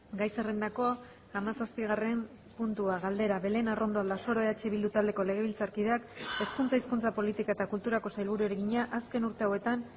gai zerrendako hamazazpigarren puntua galdera belén arrondo aldasoro eh bildu taldeko legebiltzarkideak hezkuntza hizkuntza politika eta kulturako sailburuari egina azken urte hauetan